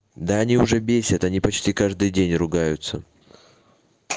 да они уже бесят они почти каждый день ругаются